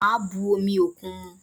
Màá bu omi òkun mu